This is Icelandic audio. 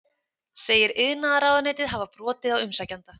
Segir iðnaðarráðuneytið hafa brotið á umsækjanda